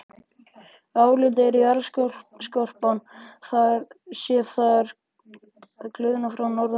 Álitið er að jarðskorpan sé þar að gliðna norðan frá.